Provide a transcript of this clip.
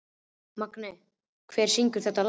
Magney, hver syngur þetta lag?